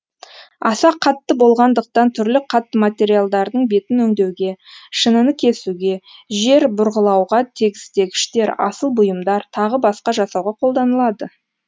аса қатты болғандықтан түрлі қатты материалдардың бетін өңдеуге шыныны кесуге жер бұрғылауға тегістегіштер асыл бұйымдар тағы басқа жасауға қолданылады